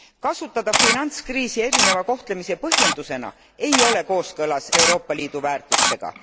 Kasutada finantskriisi erineva kohtlemise põhjendusena ei ole kooskõlas Euroopa Liidu väärtustega.